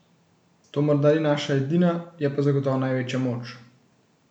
To morda ni naša edina, je pa zagotovo največja moč.